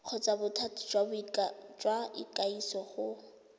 kgotsa bothati jwa ikwadiso go